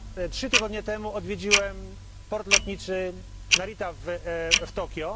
Trzy tygodnie temu odwiedziłem port lotniczy Narita w Tokio.